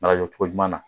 Mara jɔcogo ɲuman na